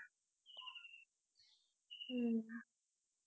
ஹம்